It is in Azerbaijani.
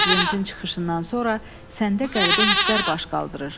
Prezidentin çıxışından sonra səndə qəribə hisslər baş qaldırır.